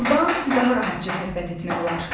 Burdan daha rahatca söhbət etmək olar.